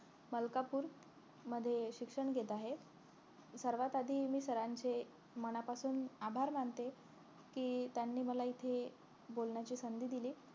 मलकापूर मध्ये अं शिक्षण घेत आहे सर्वात आधी मी सरांचे मनापासून मी आभार मानते कि त्यांनी मला इथे बोलण्याची संधी दिली